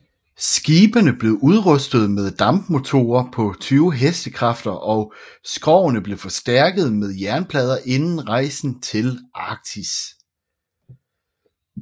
Skibene blev udrustede med dampmotorer på 20 hestekræfter og skrogene blev forstærkede med jernplader inden rejsen til Arktis